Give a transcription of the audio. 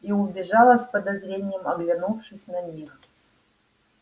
и убежала с подозрением оглянувшись на них